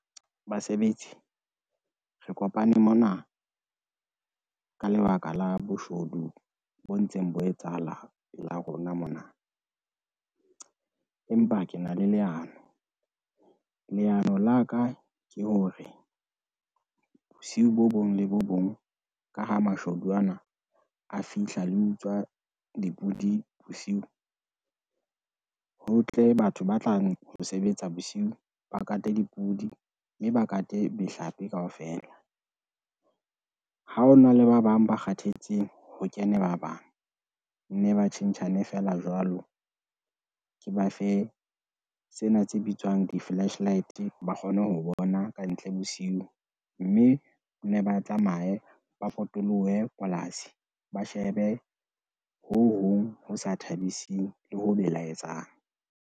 Basebetsi, re kopane mona ka lebaka la boshodu bo ntseng bo etsahala pela rona mona, empa ke na le leano. Leano la ka ke hore, bosiu bo bong le bo bong ka ha mashodu ana a fihla le ho utswa dipudi bosiu, ho tle batho ba tlang ho sebetsa bosiu ba kate dipudi, mme ba kate mehlape kaofela. Ha ona le ba bang ba kgathetseng ho kene ba bang ne ba tjhentjhane feela jwalo, ke ba fe sena tse bitswang di-flashlight, ba kgone ho bona kantle bosiu mme, ne ba tsamaye ba potolohe polasi, ba shebe ho hong ho sa thabising le ho belaetsang.